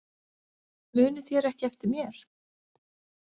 Munið þér ekki eftir mér?